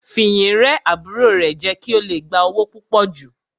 Fìyìn rẹ́ àbúrò rẹ̀ jẹ kí ó le gba owó púpò jù.